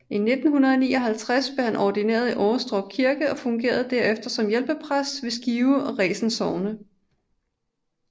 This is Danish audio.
I 1959 blev han ordineret i Årestrup Kirke og fungerede derefter som hjælpepræst ved Skive og Resen Sogne